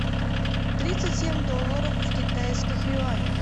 тридцать семь долларов в китайских юанях